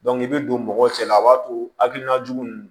i bɛ don mɔgɔw cɛla la a b'a to hakilina jugu ninnu